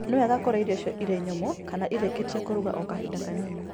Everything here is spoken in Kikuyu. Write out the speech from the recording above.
Nĩ wega kũrĩa irio icio irĩ nyũmũ kana irĩkĩtie kũruga o kahinda kanini.